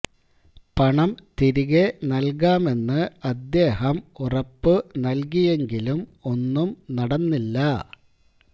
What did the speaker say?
പണം തിരികെ നല്കാമെന്ന് അദ്ദേഹം ഉറപ്പു നല്കിയെങ്കിലും ഒന്നും നടന്നില്ല